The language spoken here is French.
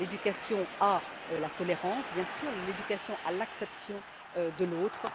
L'éducation à la tolérance, bien sûr, l'éducation à l'acceptation de l'autre.